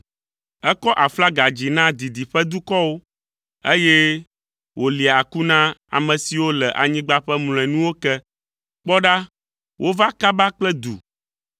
Ekɔ aflaga dzi na didiƒe dukɔwo, eye wòlia aku na ame siwo le anyigba ƒe mlɔenuwo ke. Kpɔ ɖa, wova kaba kple du!